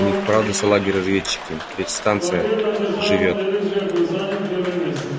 у них правда салаги разведчики ведь станция живёт